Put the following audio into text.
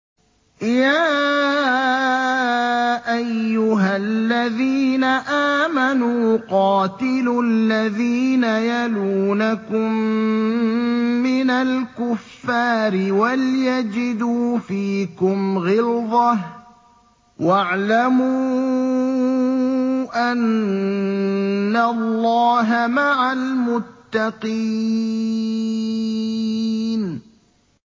يَا أَيُّهَا الَّذِينَ آمَنُوا قَاتِلُوا الَّذِينَ يَلُونَكُم مِّنَ الْكُفَّارِ وَلْيَجِدُوا فِيكُمْ غِلْظَةً ۚ وَاعْلَمُوا أَنَّ اللَّهَ مَعَ الْمُتَّقِينَ